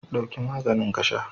Ɗauki maganin ka sha!